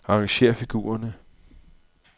Arrangér figurerne.